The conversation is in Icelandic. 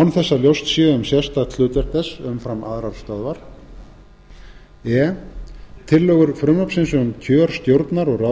án þess að ljóst sé um sérstakt hlutverk þess umfram aðrar stöðvar e tillögur frumvarpsins um kjör stjórnar og